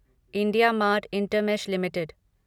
IndiaMART Intermesh limited